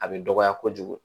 A bɛ dɔgɔya kojugu